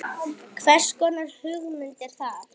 Hvers konar hugmynd er hann?